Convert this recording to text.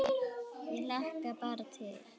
Ég hlakka bara til!